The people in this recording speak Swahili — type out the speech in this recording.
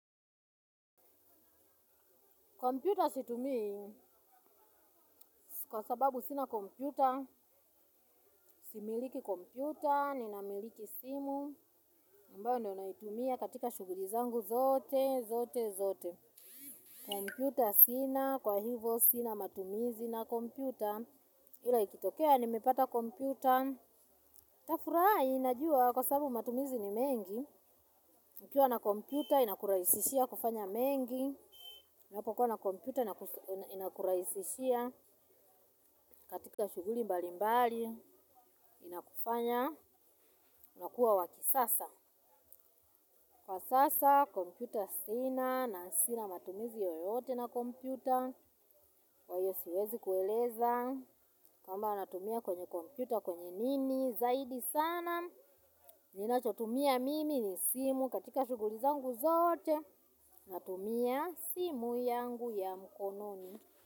Komputa situmii kwa sababu sina komputa, similiki komputa, ninamiliki simu, ambayo ndio naitumia katika shuguli zangu zote, zote, zote. Komputa sina, kwa hivo sina matumizi na komputa. Ila ikitokea, nimepata komputa. Tafurahi, najua kwa sababu matumizi ni mengi. Ukiwa na komputa, inakuraisishia kufanya mengi. Unapokuwa na kompyuta inakuraisishia katika shuguli mbali mbali inakufanya unakuwa wakisasa. Kwa sasa kompyuta sina na sina matumizi yoyote na kompyuta. Kwa hiyo siwezi kueleza kamba natumia kwenye kompyuta kwenye nini zaidi sana. Ninachotumia mimi ni simu katika shuguli zangu zoote natumia simu yangu ya mkononi.